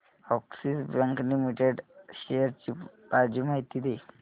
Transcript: Axis bank limited shares ची ताजी माहिती दे